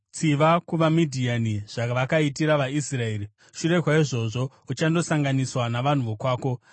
“Tsiva kuvaMidhiani zvavakaitira vaIsraeri. Shure kwaizvozvo uchandosanganiswa navanhu vako.”